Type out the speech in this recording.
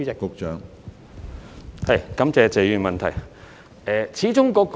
感謝謝議員的補充質詢。